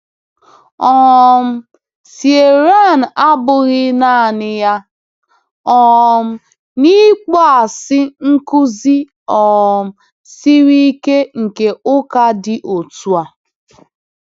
um Ciarán abụghị naanị ya um n’ịkpọasị nkuzi um siri ike nke ụka dị otu a.